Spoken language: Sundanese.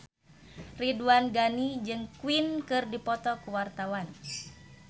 Ridwan Ghani jeung Queen keur dipoto ku wartawan